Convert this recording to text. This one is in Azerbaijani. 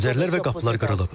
Pəncərələr və qapılar qırılıb.